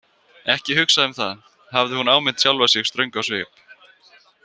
Ekki hugsa um það, hafði hún áminnt sjálfa sig ströng á svip.